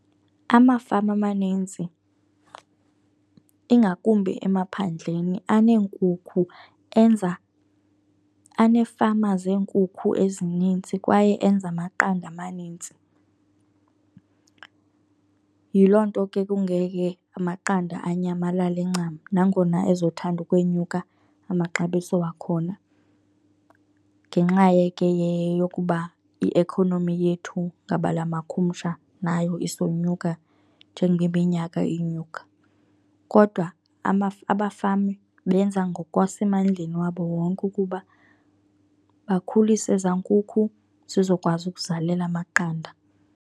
Amafama amaninzi ingakumbi emaphandleni aneenkukhu enza, aneefama zeenkuku ezininzi kwaye enza amaqanda amanintsi. Yiloo nto ke kungeke amaqanda anyamalale ncam nangona ezothanda ukwenyuka amaxabiso wakhona ngenxa ke yokuba i-economy yethu ngabala makhumsha nayo isenyuka njengoba iminyaka inyuka. Kodwa abafama benza ngokwasemandleni wabo wonke ukuba bakhulise ezaa nkukhu zizokwazi ukuzalela amaqanda.